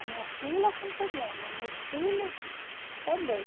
A minha filha com problema, o meu filho também.